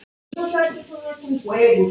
Alltaf eitt bros.